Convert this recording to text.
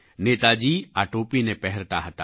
નેતાજી આ ટોપીને પહેરતા હતા